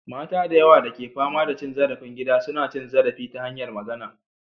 Mata da yawa da ke fama da cin zarafin gida suna cin zarafi ta hanyar magana.